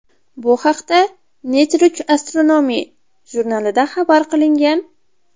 Bu haqda Nature Astronomy jurnalida xabar qilingan .